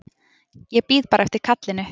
Ég bíð bara eftir kallinu.